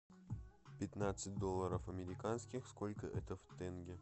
пятнадцать долларов американских сколько это в тенге